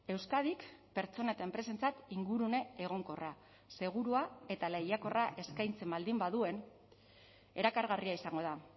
euskadik pertsona eta enpresentzat ingurune egonkorra segurua eta lehiakorra eskaintzen baldin baduen erakargarria izango da